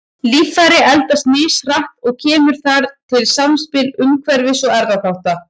Líffæri eldast mishratt og kemur þar til samspil umhverfis- og erfðaþátta.